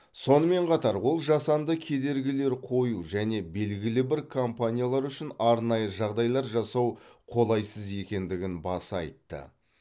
сонымен қатар ол жасанды кедергілер қою және белгілі бір компаниялар үшін арнайы жағдайлар жасау қолайсыз екендігін баса айтты